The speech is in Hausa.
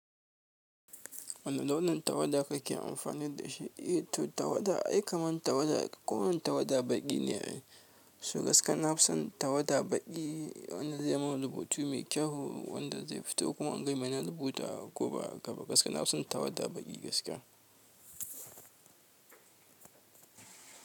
Wane launin tawada kake amfani da shi? Eh to tawada ai kaman tawada kowane tawada baƙi ne. Su gaskiya na fi son tawada baƙi wanda zai mun rubutu mai kyau wanda zai fito kuma in ga me na rubuta ko ba haka ba? Gaskiya na fi son tawada baƙi gaskiya.